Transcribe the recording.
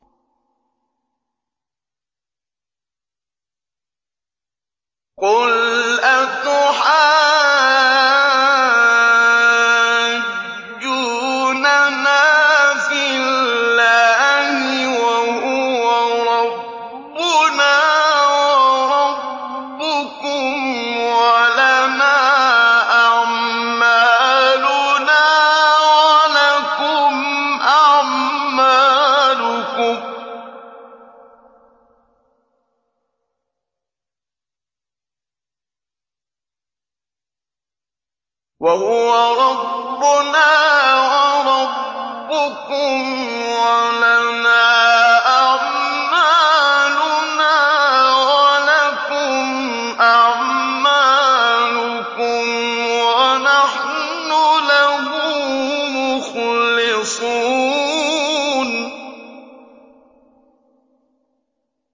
قُلْ أَتُحَاجُّونَنَا فِي اللَّهِ وَهُوَ رَبُّنَا وَرَبُّكُمْ وَلَنَا أَعْمَالُنَا وَلَكُمْ أَعْمَالُكُمْ وَنَحْنُ لَهُ مُخْلِصُونَ